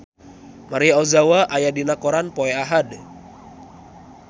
Maria Ozawa aya dina koran poe Ahad